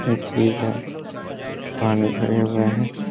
ये झील है। पानी भरे हुए हैं।